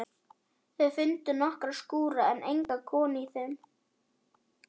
Þau fundu nokkra skúra en enga konu í þeim.